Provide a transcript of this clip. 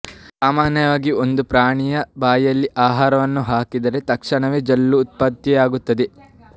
ಸಾಮಾನ್ಯವಾಗಿ ಒಂದು ಪ್ರಾಣಿಯ ಬಾಯಿಯಲ್ಲಿ ಆಹಾರವನ್ನು ಹಾಕಿದರೆ ತತ್ಕ್ಷಣವೇ ಜೊಲ್ಲು ಉದ್ಭವಿಸುತ್ತದೆ